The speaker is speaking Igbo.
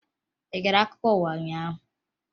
Ị gere akụkọ ụwa ụnyaahụ?